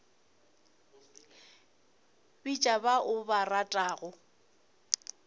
bitša ba o ba ratago